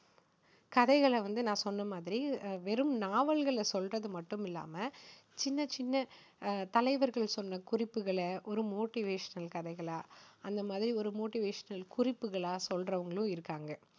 கதைகளை வந்து நான் சொன்ன மாதிரி வெறும் நாவல்களை சொல்றது மட்டும் இல்லாம, சின்ன சின்ன தலைவர்கள் சொன்ன குறிப்புகளை ஒரு motivational கதைகளா அந்த மாதிரி ஒரு motivational குறிப்புக்களா சொல்றவங்களும் இருக்காங்க.